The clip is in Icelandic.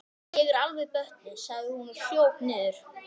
Ég er alveg bötnuð, sagði hún og hljóp niður.